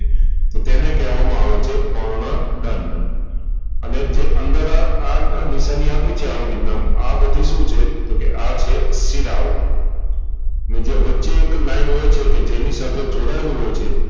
તો તેને કેહવામાં આવે છે પર્ણ દંડ અને જે અંદર આ નિશાની આપી છે આવી રીતના આ બધી શું છે તોકે આ છે શિરાઓ ને જે વચ્ચે જે એક લાઈન હોય છે કે જેની સાથે જોડાયેલું હોય છે.